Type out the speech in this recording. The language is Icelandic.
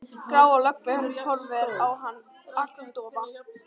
Gráa löggan horfir á hann agndofa.